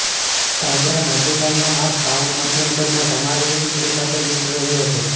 તાજા નાજુકાઈના માંસ પાઉન્ડ મધ્યમ કદના સમારેલી ડુંગળી સાથે મિશ્ર રહ્યો છે